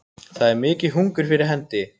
Það er mikið hungur fyrir hendi